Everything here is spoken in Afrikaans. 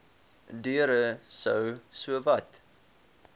deure sou sowat